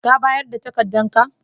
Ka bayar da takadan ka?